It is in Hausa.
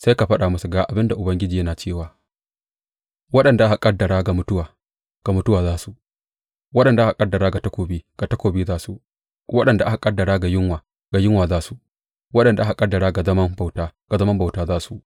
Sai ka faɗa musu, Ga abin da Ubangiji yana cewa, Waɗanda aka ƙaddara ga mutuwa, ga mutuwa za su; waɗanda aka ƙaddara ga takobi, ga takobi za su; waɗanda aka ƙaddara ga yunwa, ga yunwa za su; waɗanda aka ƙaddara ga zaman bauta, ga zaman bauta za su.’